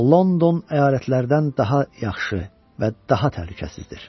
London əyalətlərdən daha yaxşı və daha təhlükəsizdir.